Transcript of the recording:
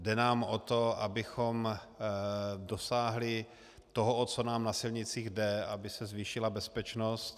Jde nám o to, abychom dosáhli toho, o co nám na silnicích jde - aby se zvýšila bezpečnost.